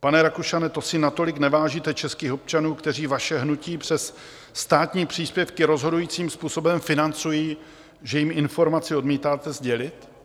Pane Rakušane, to si natolik nevážíte českých občanů, kteří vaše hnutí přes státní příspěvky rozhodujícím způsobem financují, že jim informaci odmítáte sdělit?